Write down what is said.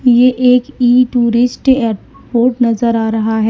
ये एक इ टूरिस्ट एयरपोर्ट नजर आ रहा है।